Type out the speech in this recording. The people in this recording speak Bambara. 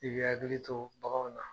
I bi hakili to baganw na